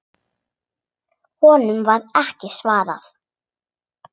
Honum var ekki svarað.